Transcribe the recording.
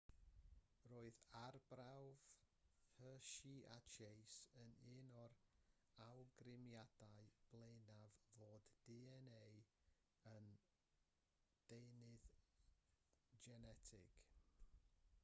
roedd arbrawf hershey a chase yn un o'r awgrymiadau blaenaf fod dna yn ddeunydd genetig